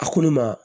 A ko ne ma